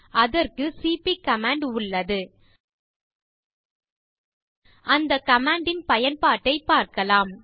அதற்கு cp command உள்ளது அந்த கமாண்ட் இன் பயன்பட்டைப் பார்க்கலாம்